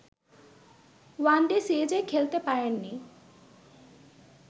one day সিরিজে খেলতে পারেননি